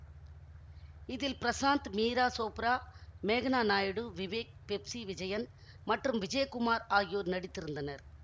இதில் பிரசாந்த் மீரா சோப்ரா மேக்னா நாயுடு விவேக் பெப்சி விஜயன் மற்றும் விஜயகுமார் ஆகியோர் நடித்திருந்தனர்